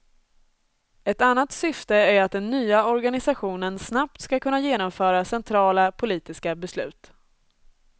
Ett annat syfte är att den nya organisationen snabbt ska kunna genomföra centrala politiska beslut.